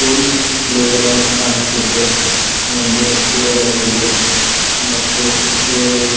school playground ಕಾಣುತ್ತಿದೆ ಮುಂದು ಗಿಡಗಳಿವೆ ಮತ್ತು ಗಿಡಗಳಿ --